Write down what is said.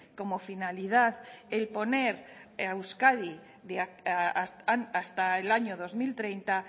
como finalidad el poner a euskadi hasta el año dos mil treinta